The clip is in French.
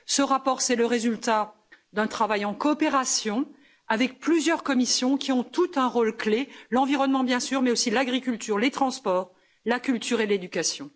Ce rapport, c'est le résultat d'un travail en coopération avec plusieurs commissions qui ont toutes un rôle clé l'environnement, bien sûr, mais aussi l'agriculture, les transports, la culture et l'éducation.